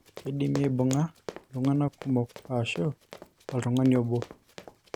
keidim aibung'a iltunganak kumok aashu oltungani obo.